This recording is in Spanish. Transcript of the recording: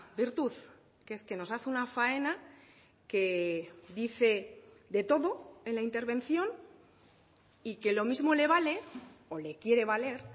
virtud que es que nos hace una faena que dice de todo en la intervención y que lo mismo le vale o le quiere valer